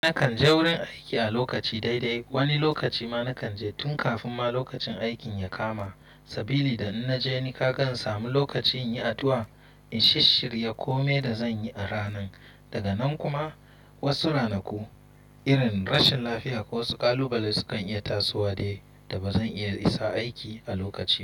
Na kan je wurin aiki a lokaci daidai. Wani lokaci ma na kan je tun kafin ma lokacin aikin ya kama. Sabili da in naje ni ka kan samu lokaci in yi addu'a, in shisshirya ko mai da zan yi a ranan. Daga nan kuma wasu ranaku irin rashin lafiya ko wasu ƙalubale su kan iya tasowa dai da ba zan iya isa aiki a lokaci ba.